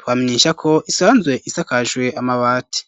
twamenyesha ko isanzwe isakajwe amabati.